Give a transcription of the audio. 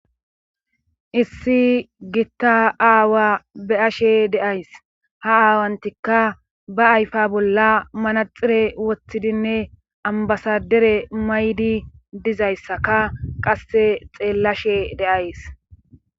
issi giitta aawa be'ashe deays ha aawantikka ba ayfa bolla manaxire woththidinne ambasadere maydi dizayssaka qasse xeellashe de'ays